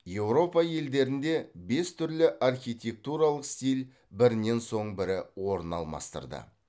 еуропа елдерінде бес түрлі архитектуралық стиль бірінен соң бірі орын алмастырды